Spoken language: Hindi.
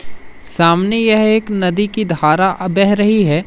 सामने यह एक नदी की धारा बह रही है।